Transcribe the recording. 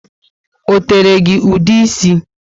O tere gị ude ísì?